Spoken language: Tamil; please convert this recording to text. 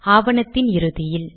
ஆவணத்தின் இறுதியில்